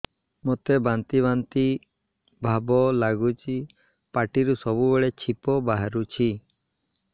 ମୋତେ ବାନ୍ତି ବାନ୍ତି ଭାବ ଲାଗୁଚି ପାଟିରୁ ସବୁ ବେଳେ ଛିପ ବାହାରୁଛି